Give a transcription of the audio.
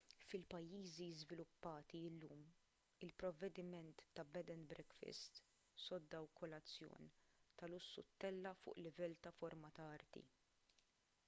fil-pajjiżi żviluppati llum il-provvediment ta’ bed and breakfast” sodda u kolazzjon ta’ lussu ttella’ fuq livell ta’ forma ta’ arti